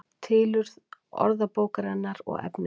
Tilurð orðabókarinnar og efniviður